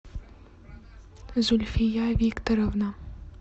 зульфия викторовна